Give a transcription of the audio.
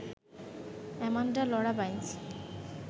Amanda Laura Binance